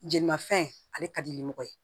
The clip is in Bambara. Jeli mafɛn ale ka di ni mɔgɔ ye